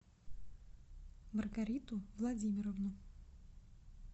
маргариту владимировну